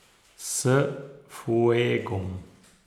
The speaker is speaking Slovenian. S fuegom.